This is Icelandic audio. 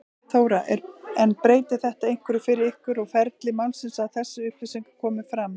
Þóra: En breytir þetta einhverju fyrir ykkur og ferli málsins að þessar upplýsingar komi fram?